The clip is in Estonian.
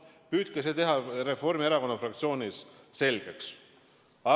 Püüdke see Reformierakonna fraktsioonis selgeks teha.